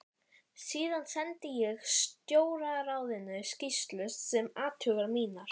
Síðan sendi ég Stjórnarráðinu skýrslu um athuganir mínar.